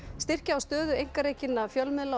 styrkja á stöðu einkarekinna fjölmiðla og